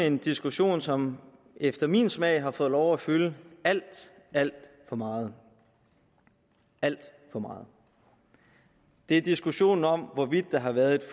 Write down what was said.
en diskussion som efter min smag har fået lov at fylde alt alt for meget alt for meget det er diskussionen om hvorvidt der har været et